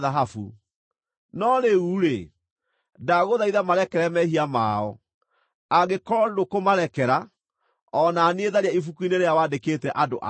No rĩu-rĩ, ndagũthaitha marekere mehia mao; angĩkorwo ndũkũmarekera, o na niĩ tharia ibuku-inĩ rĩrĩa wandĩkĩte andũ aku.”